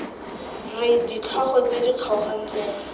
r ditlhogo tse di kgaogantsweng